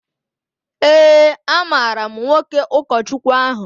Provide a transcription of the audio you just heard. Ee, amaara m nwoke ụkọchukwu ahụ